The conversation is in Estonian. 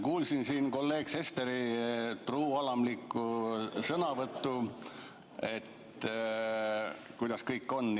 Kuulasin kolleeg Sesteri truualamlikku sõnavõttu, kuidas kõik on.